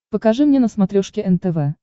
покажи мне на смотрешке нтв